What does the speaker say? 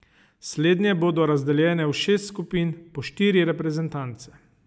Slednje bodo razdeljene v šest skupin po štiri reprezentance.